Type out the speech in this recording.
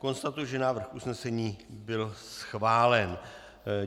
Konstatuji, že návrh usnesení byl schválen.